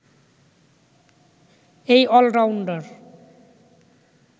এই অলরাউন্ডার